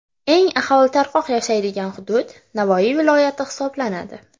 Eng aholi tarqoq yashaydigan hudud Navoiy viloyati hisoblanadi.